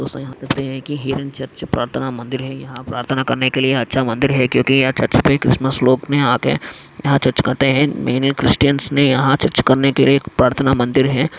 देख सखते हैं कि होरेब चर्च प्रार्थना मंदिर हैं यहा प्रार्थना करने के लिए अच्छा मंदिर हैं क्यूंकी यहा चर्च पे ख्रिसमस लोग ने आके यहा चर्च करते हैं मेनि ख्रिश्चन्स ने यहा चर्च करने के लिए एक प्रार्थना मंदिर हैं।